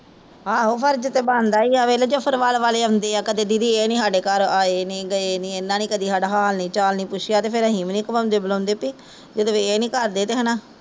ਆਹੋ ਫਰਜ਼ ਤੇ ਬਣਦਾ ਈ ਐ ਵੇਖਲਾ ਜਫਰਵਾਲ ਵਾਲੇ ਆਉਂਦੇ ਆ ਕਦੇ ਦੀਦੀ ਏਹ ਨੀ ਸਾਡੇ ਘਰ ਕਦੇ ਏਹ ਨੀ ਆਹ ਨੀ ਆਏ ਨੀ ਗਏ ਨੀ ਏਹਨਾ ਨੇ ਕਦੀ ਸਾਦਾ ਹਾਲ ਨੀ ਚਾਲ ਨੀ ਪੁੱਛਿਆ ਫੇਰ ਅਸੀਂ ਨੀ ਖਵਾਉਂਦੇ ਪਿਲਾਉਂਦੇ ਪਈ ਜਦੋਂ ਏਹ ਨੀ ਕਰਦੇ ਤਾਂ ਹੈਨਾ